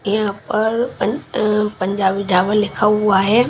यहां पर अह पंजाबी ढाबा लिखा हुआ है।